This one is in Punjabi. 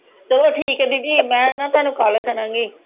ਚਲੋ ਠੀਕ ਆ ਦੀਦੀ ਮੈਂ ਨਾ ਤੁਹਾਨੂੰ ਕੱਲ ਕਰਾਂਗੀ